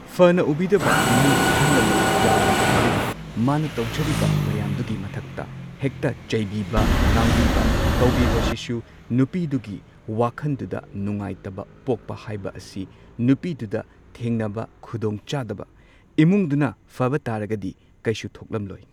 ꯐꯅ ꯎꯕꯤꯗꯕ ꯏꯃꯨꯡꯒꯤ ꯑꯍꯜ ꯂꯃꯟ ꯌꯥꯎꯕ ꯇꯥꯔꯒꯗꯤ ꯃꯥꯅ ꯇꯧꯖꯔꯤꯕ ꯃꯌꯥꯝꯗꯨꯒꯤ ꯃꯊꯛꯇ ꯍꯦꯛꯇ ꯆꯩꯕꯤꯕ ꯉꯥꯡꯕꯤꯕ ꯇꯧꯕꯤꯕꯁꯤꯁꯨ ꯅꯨꯄꯤꯗꯨꯒꯤ ꯋꯥꯈꯟꯗꯨꯗ ꯅꯨꯡꯉꯥꯏꯇꯕ ꯄꯣꯛꯄ ꯍꯥꯏꯕ ꯑꯁꯤ ꯅꯨꯄꯤꯗꯨꯗ ꯊꯦꯡꯅꯕ ꯈꯨꯗꯣꯡꯆꯥꯗꯕ ꯏꯃꯨꯡꯗꯨꯅ ꯐꯕ ꯇꯥꯔꯒꯗꯤ ꯀꯩꯁꯨ ꯊꯣꯛꯂꯝꯂꯣꯏ꯫